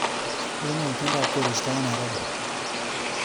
Unee itondab koristo eng Nairobi